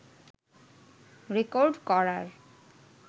record করার